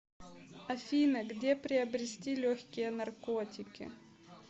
афина где приобрести легкие наркотики